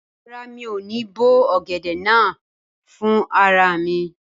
Rárá, mi ò ní bó ọ̀gẹ̀dẹ̀ náà fún rara mi